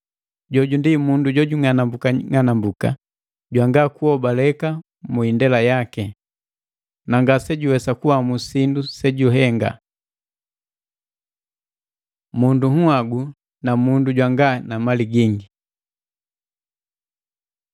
Jombi ndi mundu jojung'anambuka ng'anambuka, jwanga kuhobaleka mu indela yaki. Na ngasejuwesa kuamu sindu sejuhenga.” Mundu nhagu na mundu jwana mali gingi